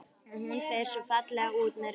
Og hún fer svo fallega út með rusl.